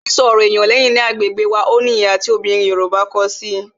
Sísọ ọ̀rọ̀ ènìyàn lẹ́yìn ni agbègbè wá, ó ní ìhà tí àwọn obìnrin Yorùbá ko si i